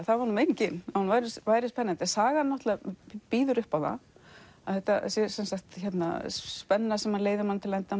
það var meiningin að hún væri spennandi sagan býður upp á það að þetta sé spenna sem leiðir mann til enda